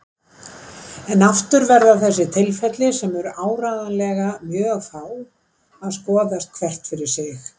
En aftur verða þessi tilfelli, sem eru áreiðanlega mjög fá, að skoðast hvert fyrir sig.